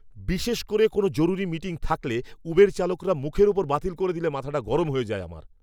বিশেষ করে কোনও জরুরি মিটিং থাকলে, উবের চালকরা মুখের ওপর বাতিল করে দিলে মাথাটা গরম হয়ে যায় আমার!